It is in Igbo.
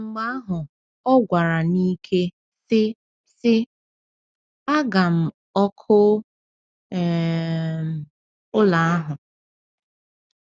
Mgbe ahụ ọ gwara n’ike, sị: sị: “Aga m ọkụ um ụlọ ahụ!”